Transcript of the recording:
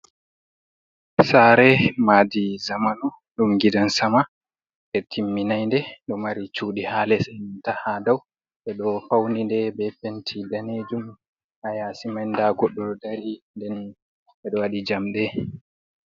Sare Maadi Zamanu ɗum gidan-sama ɓe timminai nde. Ɗo mari cuɗi ha les e'nanta ha dau. Ɓeɗo fauni nde be penti danejum. Ha yasi man nda goɗɗo ɗo dari, nden ɓedo waɗi jamɗe.